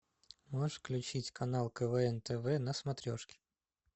можешь включить канал квн тв на смотрешке